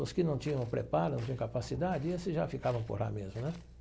Os que não tinham preparo, não tinham capacidade, esses já ficavam por lá mesmo, né?